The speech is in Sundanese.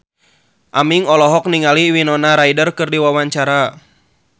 Aming olohok ningali Winona Ryder keur diwawancara